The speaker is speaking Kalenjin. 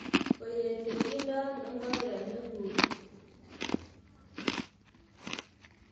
Koyechekido ano ikokenik nguk!